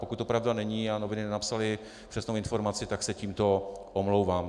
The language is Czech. Pokud to pravda není a noviny nenapsaly přesnou informaci, tak se tímto omlouvám.